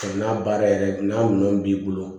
N'a baara yɛrɛ n'a minɛn b'i bolo